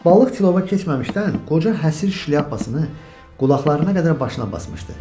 Balıq tilova keçməmişdən qoca Həsir şlyapasını qulaqlarına qədər başına basmışdı.